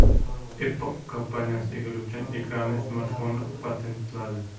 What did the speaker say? Apple kompaniyasi egiluvchan ekranli smartfonni patentladi.